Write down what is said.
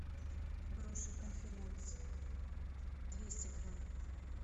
груши конференц двести грамм